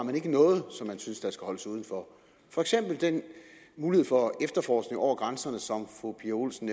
noget som man synes skal holdes uden for for eksempel den mulighed for efterforskning over grænserne som fru pia olsen